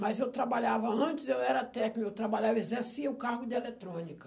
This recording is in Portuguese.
Mas eu trabalhava, antes eu era técnico, eu trabalhava, exercia o cargo de eletrônica.